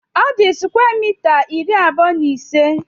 Ọ di square mita iri abuọ na ise